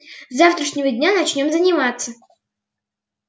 с завтрашнего дня начнём заниматься